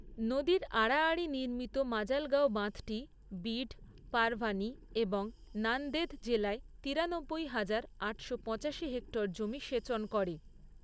নদীর আড়াআড়ি নির্মিত মাজালগাঁও বাঁধটি বিড, পারভানি এবং নান্দেদ জেলায় তিরানব্বই হাজার, আটশো পঁচাশি হেক্টর জমি সেচন করে।